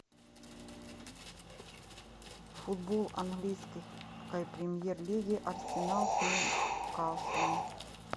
футбол английской премьер лиги арсенал с ньюкаслом